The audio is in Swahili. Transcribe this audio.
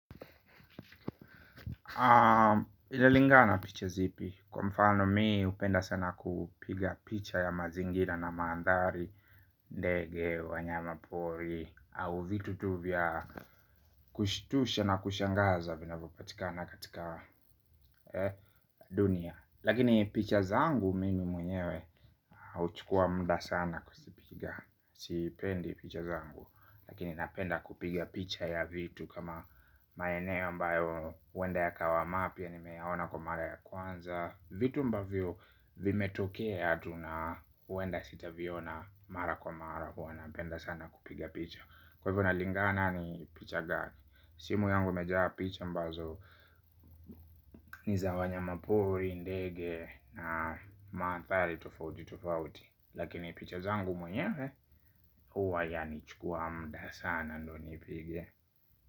Inalingana picha zipi. Kwa mfano mi hupenda sana kupiga picha ya mazingira na mandhari. Ndege, wanyama pori au vitu tu vya kushitusha na kushangaza vinavyopatikana katika dunia. Lakini picha zangu mimi mwenyewe. Huchukua muda sana kuzipiga. Sipendi picha zangu. Lakini napenda kupiga picha ya vitu kama maeneo ambayo huenda yakawa mapya nimeyaona kwa mara ya kwanza vitu ambavyo vimetokea tu na huenda sitaviona mara kwa mara huwa napenda sana kupiga picha kwa hivyo inalingana ni picha gani simu yangu imejaa picha ambazo ni za wanyamapori ndege na mandhari tofauti tofauti lakini picha zangu mwenye huwa yanichukua muda sana ndo nipige.